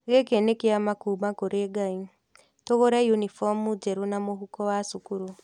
Gĩkĩ nĩ kĩama kuuma kũrĩ Ngai. Tũgũre unibomu njerũ na mũhuko wa cukuru.